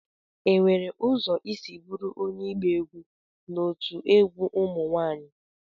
Enwere ụzọ isi bụrụ onye ịgba egwu n'otu egwu ụmụ nwanyị?